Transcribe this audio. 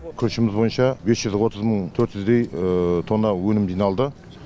күрішіміз бойынша бес жүз отыз мың төрт жүздей тонна өнім жиналды